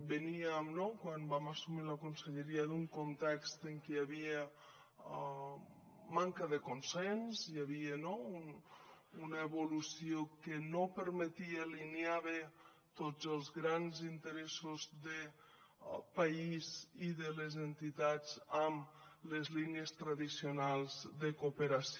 veníem quan vam assumir la conselleria d’un context en què hi havia manca de consens hi havia una evolució que no permetia alinear bé tots els grans interessos del país i de les entitats amb les línies tradicionals de cooperació